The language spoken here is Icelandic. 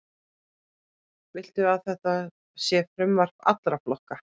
Viltu að þetta sé frumvarp allra flokka?